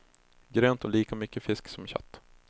Grönt och lika mycket fisk som kött.